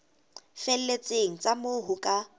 felletseng tsa moo ho ka